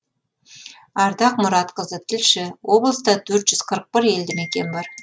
ардақ мұратқызы тілші облыста төрт жүз қырық бір елді мекен бар